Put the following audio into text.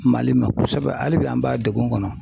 Mali ma kosɛbɛ hali bi an b'a degun kɔnɔ